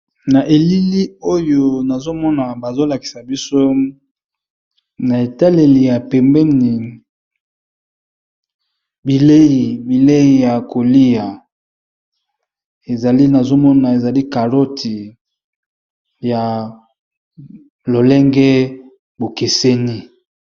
na elili oyo nazomona bazolakisa biso na etaleli ya pembeni bilei ya kolia ezlinazomona ezali caroti ya lolenge bokeseni